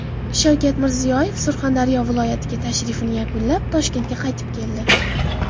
Shavkat Mirziyoyev Surxondaryo viloyatiga tashrifini yakunlab, Toshkentga qaytib keldi.